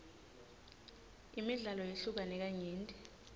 imidlalo yehlukene kanyenti